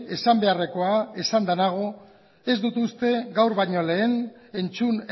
esan beharrekoa esanda nago ez dut uste gaur baino lehen entzun